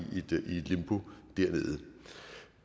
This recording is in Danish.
i et limbo dernede